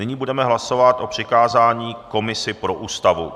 Nyní budeme hlasovat o přikázání komisi pro Ústavu.